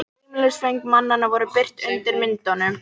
Heimilisföng mannanna voru birt undir myndunum